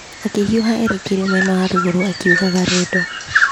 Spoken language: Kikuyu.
Akĩhiũha erekeire mwena wa rũgũrũ, akĩiguaga rwendo.